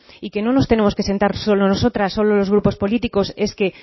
y que no nos tenemos que sentar solo nosotras solo los grupos políticos es que